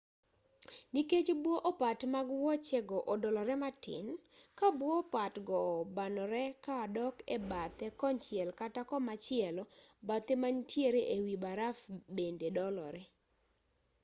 nikech bwo opat mag wuoche go odolore matin ka bwo opat go banore ka dok e bathe konchiel kata komachielo bathe ma manitiere e wi baraf bende dolore